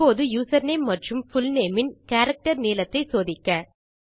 இப்போது யூசர்நேம் மற்றும் புல்நேம் இன் கேரக்டர் நீளத்தை சோதிக்க